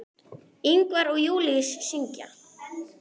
Ingvar og Júlíus syngja.